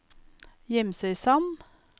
Gimsøysand